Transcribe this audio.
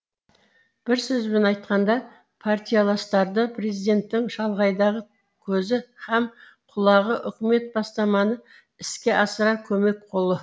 бір сөзбен айтқанда партияластарды президенттің шалғайдағы көзі һәм құлағы үкімет бастаманы іске асырар көмек қолы